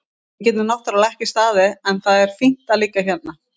Við getum náttúrlega ekki staðið en það er fínt að liggja hérna.